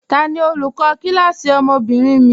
Tani olùkọ kílásí ọmọ́bìnrin mi?